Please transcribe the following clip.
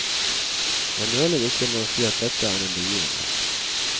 Jeg nøler ikke med å si at dette er en begivenhet.